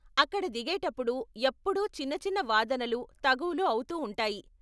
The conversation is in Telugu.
అక్కడ దిగేటప్పుడు ఎప్పుడూ చిన్న చిన్న వాదనలు, తగువులు అవుతూ ఉంటాయి.